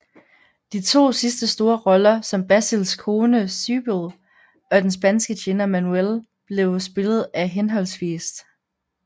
De to sidste store roller som Basils kone Sybil og den spanske tjener Manuel blev spillet af hhv